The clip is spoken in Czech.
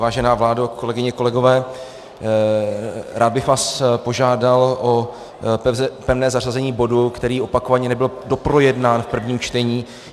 Vážená vládo, kolegyně, kolegové, rád bych vás požádal o pevné zařazení bodu, který opakovaně nebyl doprojednán v prvním čtení.